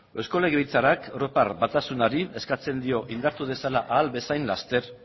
eusko legelbitzarrak europa batasunari eskatzen dio indartu dezala ahal bezain laster